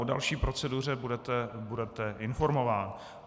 O další proceduře budete informován.